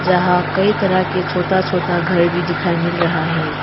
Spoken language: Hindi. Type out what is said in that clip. जहां कई तरह के छोटा छोटा घर भी दिखाई मिल रहा है।